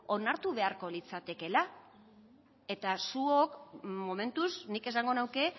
onartu beharko litzatekeela eta zuek momentuz nik esango nuke